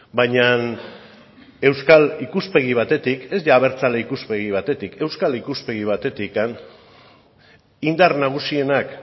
baina euskal ikuspegi batetik ez abertzale ikuspegi batetik euskal ikuspegi batetik indar nagusienak